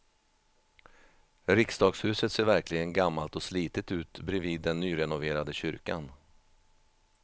Riksdagshuset ser verkligen gammalt och slitet ut bredvid den nyrenoverade kyrkan.